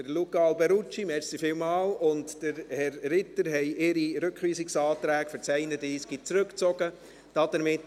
Luca Alberucci und Michael Ritter haben ihre Anträge zum Traktandum 31 zurückgezogen, vielen Dank.